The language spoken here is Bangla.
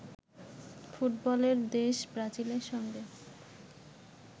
ফুটবলের দেশ ব্রাজিলের সঙ্গে